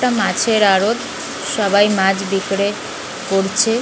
একটা মাছের আড়ত সবাই মাছ বিক্রে করছে।